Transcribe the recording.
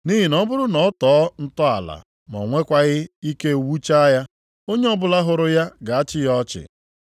Nʼihi na ọ bụrụ na ọ tọọ ntọala ma o nwekwaghị ike wuchaa ya, onye ọbụla hụrụ ya ga-achị ya ọchị,